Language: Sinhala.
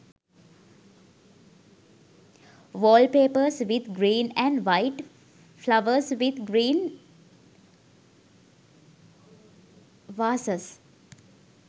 wall papers with green and white flowers with green vasses